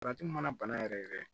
Salati mana bana yɛrɛ yɛrɛ